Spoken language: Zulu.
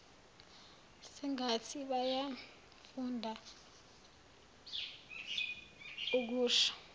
sengathi bayafunda okusho